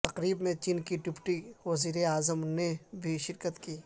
تقریب میں چین کے ڈپٹی وزیراعظم نے بھی شرکت کی